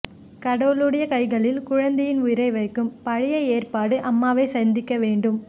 கடவுளுடைய கைகளில் குழந்தையின் உயிரை வைக்கும் பழைய ஏற்பாட்டு அம்மாவை சந்திக்க வேண்டும்